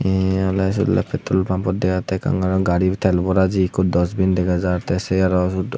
eeh oley sei petrol pampot dega jattey ekkan gari tel bora jeye ikko dosbin dega jaar tey se aro suod.